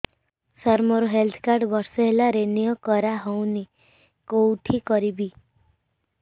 ସାର ମୋର health card ବର୍ଷେ ହେଲା ରିନିଓ କରା ହଉନି କଉଠି କରିବି